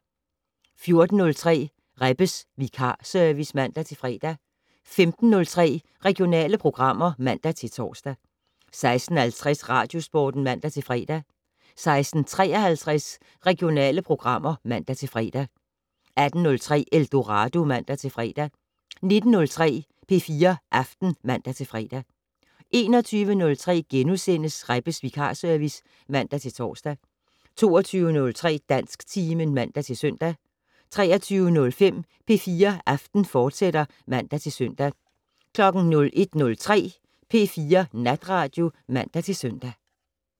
14:03: Rebbes vikarservice (man-fre) 15:03: Regionale programmer (man-tor) 16:50: Radiosporten (man-fre) 16:53: Regionale programmer (man-fre) 18:03: Eldorado (man-fre) 19:03: P4 Aften (man-fre) 21:03: Rebbes vikarservice *(man-tor) 22:03: Dansktimen (man-søn) 23:05: P4 Aften, fortsat (man-søn) 01:03: P4 Natradio (man-søn)